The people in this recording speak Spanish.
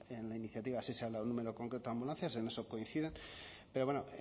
en la iniciativa sí se ha dado un número concreto de ambulancias en eso coinciden pero bueno